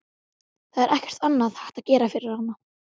Það er ekkert annað hægt að gera fyrir hana.